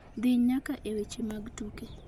dhi nyaka e weche mag tuke